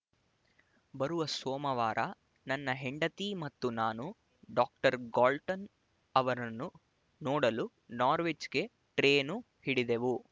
ಬರುವ ಸೋಮವಾರ ನನ್ನ ಹೆಂಡತಿ ಮತ್ತು ನಾನು ಡಾಕ್ಟರ್ ಗಾಲ್ಟನ್ ಅವರನ್ನು ನೋಡಲು ನಾರ್ವಿಚ್‍ಗೆ ಟ್ರೇನು ಹಿಡಿದೆವು